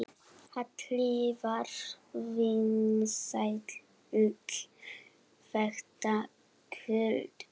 Halli var vinsæll þetta kvöld.